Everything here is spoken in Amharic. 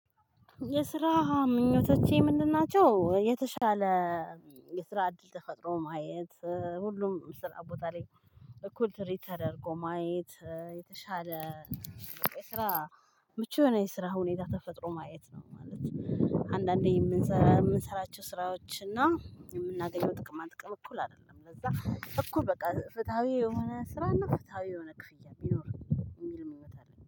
የስራ ምኞቶቼ ምንድን ናቸው? የተሻለ የስራ እድል ተፈጥሮ ማየት ሁሉም ስራ ቦታ ላይ እኩል ትሪት ተደርጎ ማየት የተሻለ ስራ ምቹ የሆነ የስራ ሁኔታ ተፈጥሮ ማየት ነው ማለት ነው። አንዳንዴ የምንሰራ የምንሰራቸው ስራዎች። የምናገኘው ጥቅማ ጥቅም እኩል አይደለም ለዛ እኩል በቃ ፍትሃዊ የሆነ ስራና ፍትሃዊ የሆነ ክፍያ ቢኖር የሚል ምኞት አለኝ